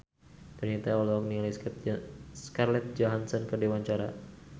Donita olohok ningali Scarlett Johansson keur diwawancara